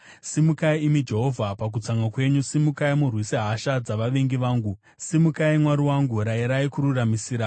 Simukai, imi Jehovha pakutsamwa kwenyu; simukai murwise hasha dzavavengi vangu. Simukai, Mwari wangu; rayirai kururamisira.